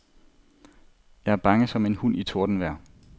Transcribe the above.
Jeg er bange som en hund i tordenvejr.